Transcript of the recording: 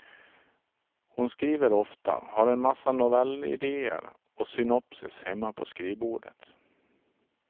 Hon skriver ofta, har en massa novellidéer och synopsis hemma på skrivbordet.